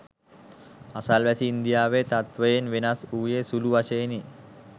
අසල්වැසි ඉන්දියාවේ තත්ත්වයෙන් වෙනස් වූයේ සුලු වශයෙනි